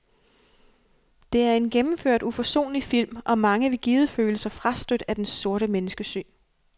Det er en gennemført uforsonlig film, og mange vil givet føle sig frastødt af dens sorte menneskesyn.